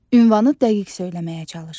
Ünvanı dəqiq söyləməyə çalış.